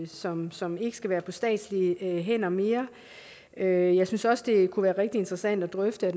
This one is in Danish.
som som ikke skal være på statslige hænder mere jeg jeg synes også det kunne være rigtig interessant at drøfte